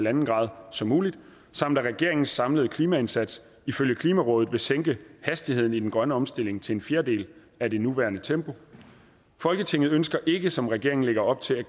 en grad som muligt samt at regeringens samlede klimaindsats ifølge klimarådet vil sænke hastigheden i den grønne omstilling til en fjerdedel af det nuværende tempo folketinget ønsker ikke som regeringen lægger op til at